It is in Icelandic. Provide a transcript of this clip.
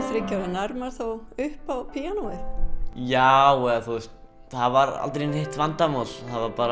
þriggja ára nær maður þá upp á píanóið já eða þú veist það var aldrei neitt vandamál